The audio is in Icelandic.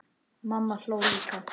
Mamma hló líka.